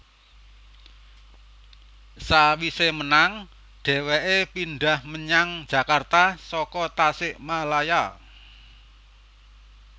Sawise menang dheweke pindhah menyang Jakarta saka Tasikmalaya